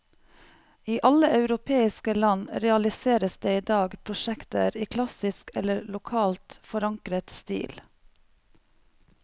I alle europeiske land realiseres det i dag prosjekter i klassisk eller lokalt forankret stil.